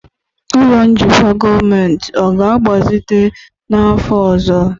ụlọ njikwa gọọmentị ọ ga-agbazite n'afọ ọzọ?